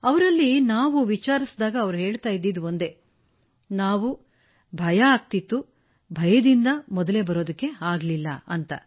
ಅವರಲ್ಲಿ ನಾವು ವಿಚಾರಿಸಿದಾಗ ಎಲ್ಲರೂ ಹೇಳುತ್ತಿದ್ದುದು ಒಂದೇ ನಾವು ಭಯದಿಂದ ಮೊದಲೇ ಬರಲಿಲ್ಲ ಎಂದು